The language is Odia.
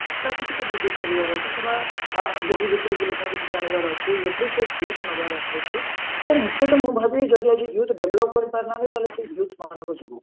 ଟାକୁ ଟିକେ ବୃଦ୍ଧି କରିବାର ଅଛି କିମ୍ବା ବହି ଭିତରକୁ ଲୋକଙ୍କୁ ଟିକେ ଆଣିବାର ଅଛି ନବାର ଅଛି ମୁଖ୍ୟତ ମୁଁ ଭାବେ ଯଦି ଆଜି youth develop କରିପାରୁନାହାନ୍ତି ତାହେଲେ ସେଇ youth ମାନଙ୍କ ଯୋଗୁ